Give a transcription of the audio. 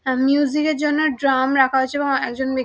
আঃ music -এর জন্য drum রাখা হয়েছে এবং একজন ব্যক্--